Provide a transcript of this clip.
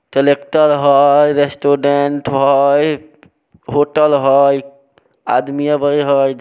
collector हय restaurant हयहोटल हय आदमी अ व हय--